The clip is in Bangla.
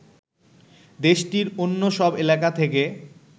দেশটির অন্য সব এলাকা থেকে